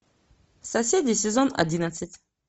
соседи сезон одиннадцать